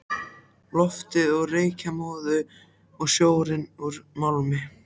Loftið úr reykjarmóðu og sjórinn úr málmi.